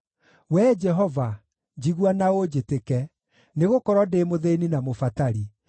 Wee Jehova, njigua na ũnjĩtĩke, nĩgũkorwo ndĩ mũthĩĩni na mũbatari.